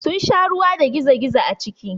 Sun sha ruwa da gizo-gizo a ciki.